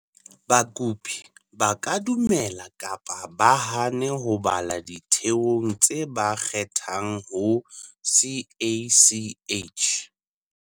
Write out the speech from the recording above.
Bakopi ba ka dumela kapa ba hane ho bala ditheong tse ba kgethang ho CACH.